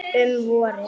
Um vorið